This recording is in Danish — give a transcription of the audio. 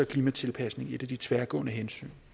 klimatilpasning et af de tværgående hensyn